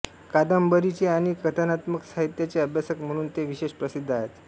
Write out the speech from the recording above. कादंबरीचे आणि कथानात्म साहित्याचे अभ्यासक म्हणून ते विशेष प्रसिद्ध आहेत